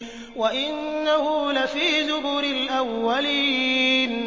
وَإِنَّهُ لَفِي زُبُرِ الْأَوَّلِينَ